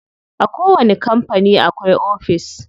A kowani kampani akwai ofis.